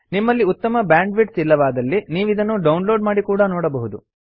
ನಿಮ್ಮಲ್ಲಿ ಉತ್ತಮ ಬ್ಯಾಂಡ್ವಿಡ್ಥ್ ಇಲ್ಲವಾದಲ್ಲಿ ನೀವಿದನ್ನು ಡೌನ್ಲೋಡ್ ಮಾಡಿ ಕೂಡಾ ನೋಡಬಹುದು